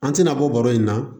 An tɛna bɔ baro in na